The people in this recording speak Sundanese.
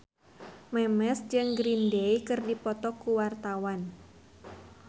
Memes jeung Green Day keur dipoto ku wartawan